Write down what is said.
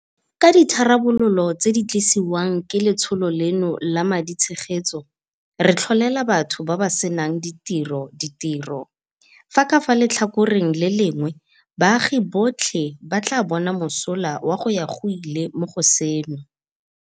Ka ditharabololo tse di tlisiwang ke letsholo leno la ma ditshegetso, re tlholela batho ba ba senang ditiro ditiro, fa ka fa letlhakoreng le lengwe baagi botlhe ba tla bona mosola wa go ya go ile mo go seno.